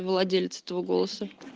владелец этого голоса